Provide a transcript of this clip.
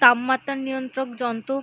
তাপমাতা নিয়ন্তক যন্ত--